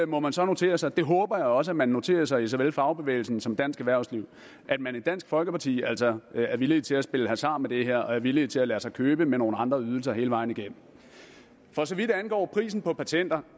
må man så notere sig det håber jeg også man noterer sig i såvel fagbevægelsen som dansk erhvervsliv at man i dansk folkeparti altså er villig til at spille hasard med det her og er villig til at lade sig købe for nogle andre ydelser hele vejen igennem for så vidt angår prisen på patenter